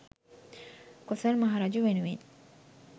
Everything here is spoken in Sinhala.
කොසොල් මහ රජු වෙනුවෙන්